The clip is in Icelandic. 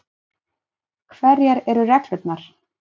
Hverjar eru reglurnar?